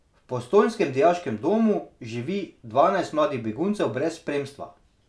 V postojnskem dijaškem domu živi dvanajst mladih beguncev brez spremstva.